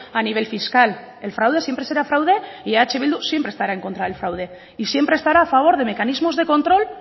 a nivel fiscal el fraude siempre será fraude y eh bildu siempre estará en contra del fraude y siempre estará a favor de mecanismos de control